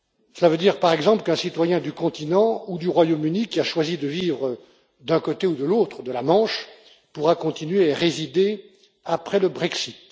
Cela veut dire, par exemple, qu'un citoyen du continent ou du Royaume Uni qui a choisi de vivre d'un côté ou de l'autre de la Manche pourra continuer à y résider après le Brexit.